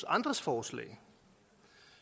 andres forslag